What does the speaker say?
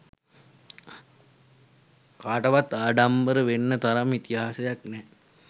කාටවත් ආඩම්බර වෙන්න තරම් ඉතිහාසයක් නැහැ.